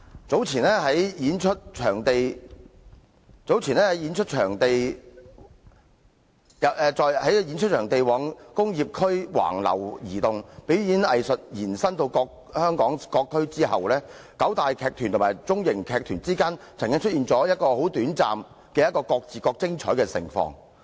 早年，在演出場地往工業區橫流移動，表演藝術延伸至香港各區後，九大藝團與中小型藝團之間曾經出現短暫的各自各精彩盛況。